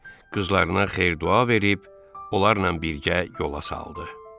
Qızlarına xeyir-dua verib, onlarla birgə yola saldı.